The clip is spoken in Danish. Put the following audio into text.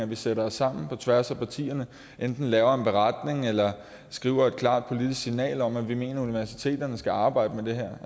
vi sætter os sammen på tværs af partierne og enten laver en beretning eller skriver et klart politisk signal om at vi mener at universiteterne skal arbejde med det her